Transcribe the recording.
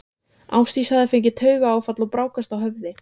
Ásdís hafði fengið taugaáfall og brákast á höfði.